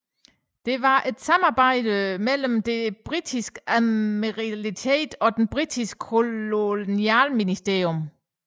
Den var en samarbejde mellem Det Britiske Admiralitet og Den Britiske Kolonialministerium